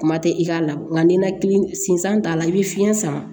Kuma tɛ i k'a la nka ni nakili sinsan t'a la i bɛ fiyɛn sama